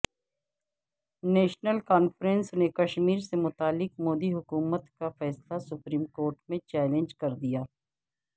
national conference نے کشمیر سے متعلق مودی حکومت کا فیصلہ سپریم کورٹ میں چیلنج کردیا